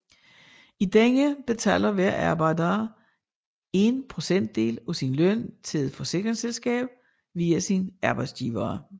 I denne betaler hver arbejder en procentdel af sin løn til et forsikringsselskab via sin arbejdsgiver